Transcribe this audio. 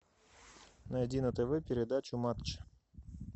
найди на тв передачу матч